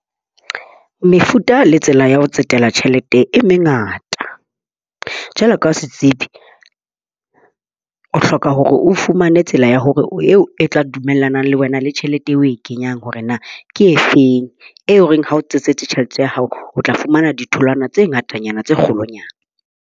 Mefuta le tsela ya ho tsetela tjhelete e mengata. Jwale ka setsebi, o hloka hore o fumane tsela ya hore eo e tla dumellana le wena le tjhelete eo o e kenyang hore na ke efeng. Eo e reng ha o tsa tjhelete ya hao, o tla fumana ditholwana tse ngatanyana tse kgolonyana.